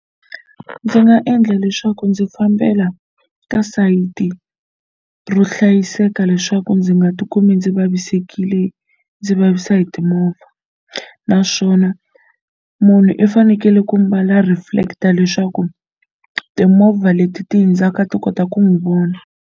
Ndzi nga endla leswaku ndzi fambela ka sayiti ro hlayiseka leswaku ndzi nga ti kumi ndzi vavisekile ndzi vavisiwa hi timovha naswona munhu i fanekele ku mbala reflector leswaku timovha leti ti hundzaka ti kota ku n'wi vona.